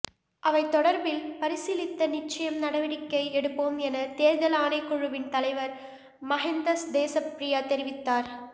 அவை தொடர்பில் பரிசீலித்து நிச்சயம் நடவடிக்கை எடுப்போம் என தேர்தல் ஆணைக்குழுவின் தலைவர் மஹிந்த தேச பிரிய தெரிவித்தார்